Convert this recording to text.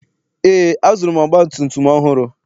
Eé, azụrụ m ọgbatumtum ọhụrụ.